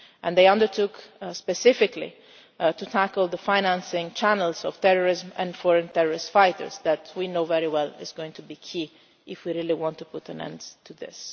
They undertook specifically to tackle the financing channels for terrorism and foreign terrorist fighters, which we know very well is going to be key if we really want to put an end to